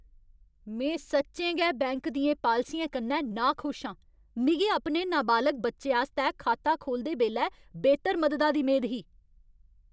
में सच्चें गै बैंक दियें पालसियें कन्नै नाखुश आं। मिगी अपने नाबालग बच्चे आस्तै खाता खोह्लदे बेल्लै बेह्तर मददा दी मेद ही।